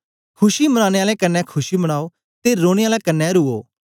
खुशी मनानें आलें कन्ने खुशी मनायो ते रोने आलें कन्ने रुवो